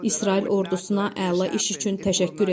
İsrail ordusuna əla iş üçün təşəkkür edirəm.